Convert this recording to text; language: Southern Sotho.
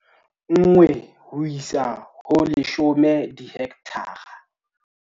1 ho isa ho 10 dihekthara